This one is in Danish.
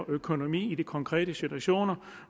økonomi i de konkrete situationer